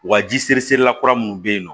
Wa ji seri seri la kura minnu bɛ yen nɔ